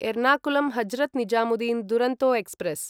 Ernakulam Hazrat Nizamuddin Duronto express